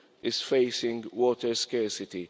EU is facing water scarcity.